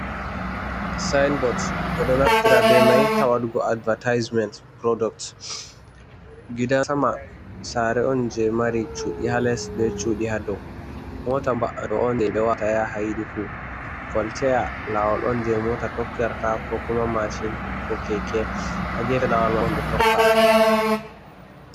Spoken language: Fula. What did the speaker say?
Sain bots ɓe ɗo naftira be mai ha waɗugo advatisment purduct gidan sama sare on je mari cuɗi ha les be cuɗi ha dow. Mota ba'aɗo on ɓe wata ya haidi fu. Koltaya lawal on je mota tokkirta ko kuma mashin ko keke ha gefe lawol mahol be tokka.